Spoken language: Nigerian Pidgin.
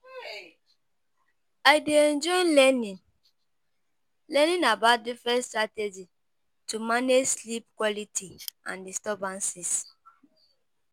I dey enjoy learning learning about different strategies to manage sleep quality and disturbances.